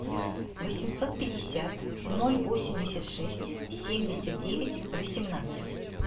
восемьсот пятьдесят ноль восемьдесят шесть семьдесят девять восемнадцать